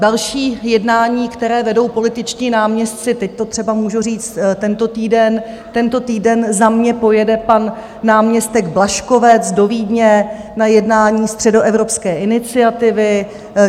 Další jednání, které vedou političtí náměstci, teď to třeba můžu říct tento týden, tento týden za mě pojede pan náměstek Blažkovec do Vídně na jednání Středoevropské iniciativy.